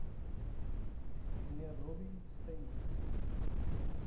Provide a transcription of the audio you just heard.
mnr robbie stainton